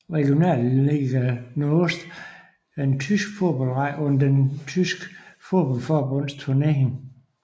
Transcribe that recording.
Regionalliga Nordost er en tysk fodboldrække under det tyske fodboldforbunds turnering